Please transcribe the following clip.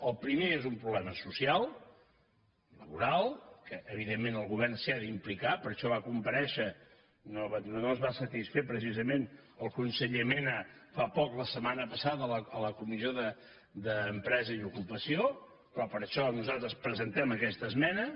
el primer és un problema social laboral que evidentment el govern s’hi ha d’implicar per això va comparèixer no ens va satisfer precisament el conseller mena fa poc la setmana passada a la comissió d’empresa i ocupació però per això nosaltres presentem aquesta esmena